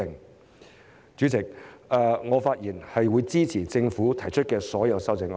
代理主席，我發言支持政府提出的所有修正案。